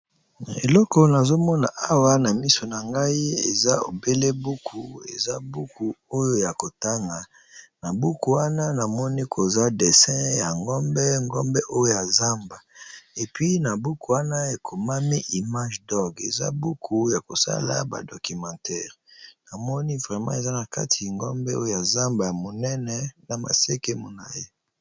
Eloko nazomona Mona na miso nangai eza obele buku ya kotanga ,na buku wana namoni koza dessin ya ngombe ya zamba puis na buku wana ekomami images Doc eza buku yakosala ba documentaire pe ngombe ya zamba monene na maseke molayi